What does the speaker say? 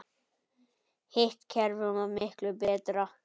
Hitt kerfið var miklu betra.